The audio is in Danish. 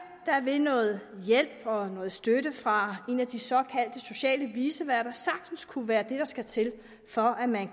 vil noget hjælp og noget støtte fra en af de såkaldte sociale viceværter sagtens kunne være det der skal til for at man